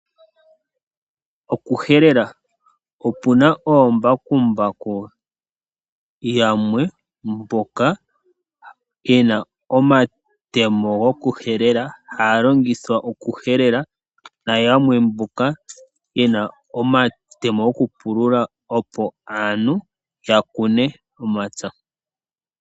Okuhelela, opuna oombakumbaku yamwe mboka yena omatemo go kuhelela, haya longithwa okuhelela, nayamwe mboka yena omatemo go kupulula, opo aantu yakune omapya.